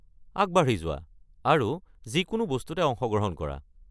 আগবাঢ়ি যোৱা আৰু যিকোনো বস্তুতে অংশগ্ৰহণ কৰা।